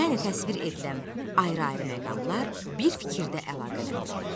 Yəni təsvir edilən ayrı-ayrı məqamlar bir fikirdə əlaqələndirilib.